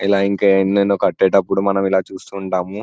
ఎలా ఇంకా ఎన్నెన్నో కట్టేటప్పుడు మనము ఇలా చూస్తూ ఉంటాము.